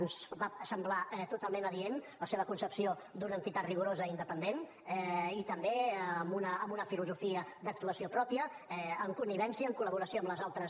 ens va semblar totalment adient la seva concepció d’una entitat rigorosa i independent i també amb una filosofia d’actuació pròpia amb connivència en col·laboració amb les altres